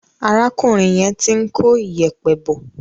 Arákùnrin yẹn ti ń kó ìyẹ̀pẹ̀ bọ̀.